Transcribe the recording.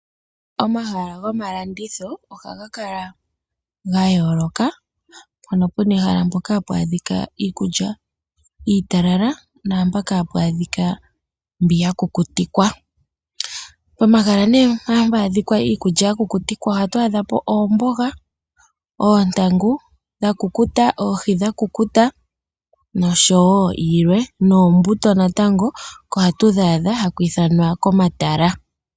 Omahala gomalandutho ohaga kala gayooloka, mpono puna ehala mpoka hapu adhika iikulya iitalala nampoka hapu adhika mbiya kukutikwa. Pomahala ne mpa hapu adhika iikulya yakukutikwa ohatu adha po oomboga, oontangu dhakukuta, oohi dhakukuta noshowo yilwe, noombuto natango oko hatudhi adha haku ithanwa komatala.